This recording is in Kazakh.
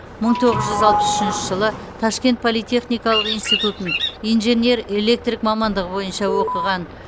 мың тоғыз жүз алпыс үшінші жылы ташкент политехникалық институтын инженер электрик мамандығы бойынша оқыған